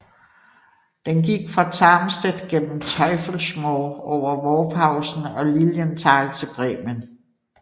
Den gik fra Tarmstedt gennem Teufelsmoor over Worphausen og Lilienthal til Bremen